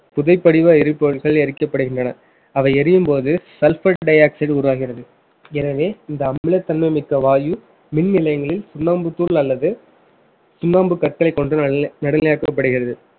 புதைபடிவ எரிபொருள்கள் எரிக்கப்படுகின்றன அவை எரியும்போது sulphur dioxide உருவாகிறது எனவே இந்த அமிலத்தன்மை மிக்க வாயு மின் நிலையங்களில் சுண்ணாம்புத்தூள் அல்லது சுண்ணாம்பு கற்களைக் கொண்டு நடுநிலை~ நடுநிலையாக்கப்படுகிறது